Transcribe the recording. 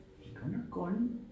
De godt nok grønne